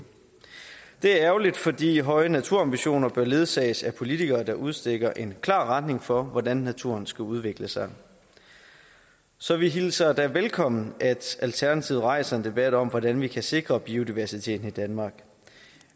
er ærgerligt fordi høje naturambitioner bør ledsages af politikere der udstikker en klar retning for hvordan naturen skal udvikle sig så vi hilser det velkommen at alternativet rejser en debat om hvordan vi kan sikre biodiversiteten i danmark